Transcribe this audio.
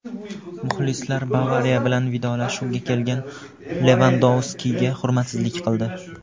Muxlislar "Bavariya" bilan vidolashishga kelgan Levandovskiga hurmatsizlik qildi.